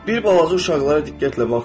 Bir balaca uşaqlara diqqətlə baxın.